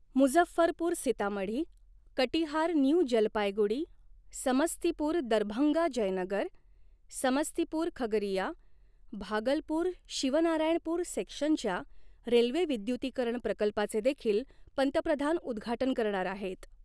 Muzaffarpur Sitamarhi, Katihar New Jalpaiguri, Samastipur Darbhanga Jaynagar, Samastipur Khagaria, Bhagalpur Shivnarayanpur सेक्शनच्या railway विद्युतीकरण प्रकल्पाचे देखील पंतप्रधान उद्घाटन करणार आहेत.